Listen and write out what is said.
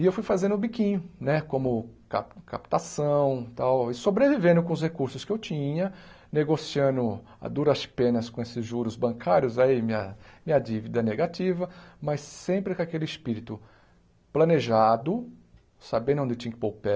E eu fui fazendo o biquinho, né, como cap captação e tal, e sobrevivendo com os recursos que eu tinha, negociando a duras penas com esses juros bancários, aí minha minha dívida negativa, mas sempre com aquele espírito planejado, sabendo onde tinha que pôr o pé.